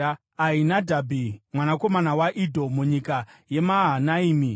Ahinadhabhi mwanakomana waIdho, munyika yeMahanaimi;